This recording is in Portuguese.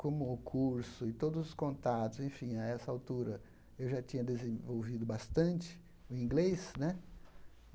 Como o curso e todos os contatos, enfim, a essa altura, eu já tinha desenvolvido bastante o inglês né.